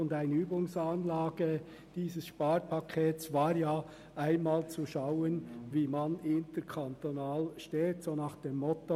Eine Übungsanlage dieses Sparpakets bestand bekanntlich darin, einmal zu schauen, wie man im interkantonalen Bereich dasteht, nach dem Motto: